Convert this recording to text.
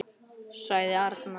sagði arnar.